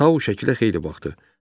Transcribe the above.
Tau şəkilə xeyli baxdı.